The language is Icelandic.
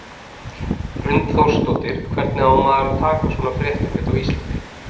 Hrund Þórsdóttir: Hvernig á maður að taka svona fréttum hérna á Íslandi?